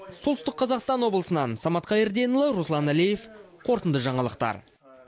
солтүстік қазақстан облысынан самат қайырденұлы руслан әлиев қорытынды жаңалықтар